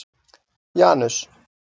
Janus